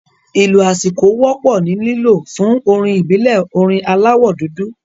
Ìlù aṣíko wọ́pọ̀ ni lílo fún orin ìbílẹ̀ orin aláwọ̀ dúdú